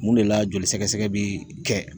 Mun de la joli sɛgɛsɛgɛ bi kɛ